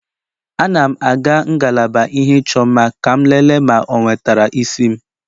Ana m aga ngalaba ihe ịchọ mma ka m lelee ma o wetara isi m